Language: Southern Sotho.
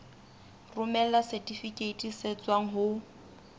romela setifikeiti se tswang ho